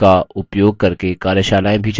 इस mission पर अधिक जानकारी निम्न लिंक पर उपलब्ध है